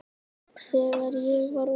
Þegar ég var ungur.